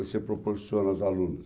Você proporciona aos alunos.